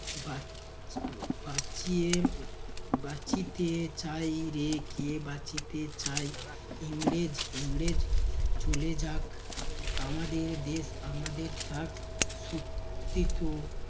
বাঁচিয়ে বাঁচিতে চায় রে কে বাঁচিতে চায়? ইংরেজ ইংরেজ চলে যাক আমাদের দেশ আমাদের থাক, সত্যি তো